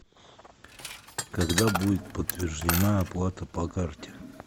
когда будет подтверждена оплата по карте